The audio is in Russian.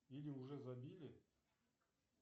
или уже забили